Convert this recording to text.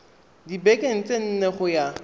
dibekeng tse nne go ya